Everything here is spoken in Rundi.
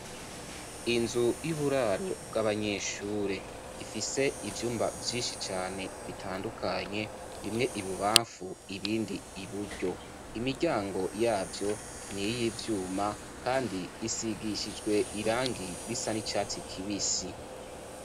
Inzu y'uburaro bw'abanyeshure, ifise ivyumba vyinshi cane bitandukanye bimwe ibubanfu, ibindi iburyo. Imiryango yavyo, niyivyuma ,kandi isigishijwe irangi risa nicatsi kibisi.